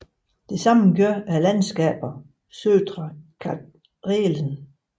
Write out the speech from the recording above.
Det samme gør landskaberne Södra Karelen